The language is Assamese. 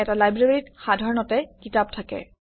এটা লাইব্ৰেৰীত সাধাৰণতে কিতাপ থাকে